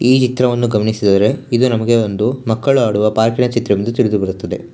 ಈ ಚಿತ್ರವನ್ನು ಗಮನಿಸಿದರೆ ಇದು ನಮಗೆ ಒಂದು ಮಕ್ಕಳು ಆಡುವ ಪಾರ್ಕ್ ಇನ ಚಿತ್ರವೆಂದು ತಿಳಿದು ಬರುತ್ತದೆ.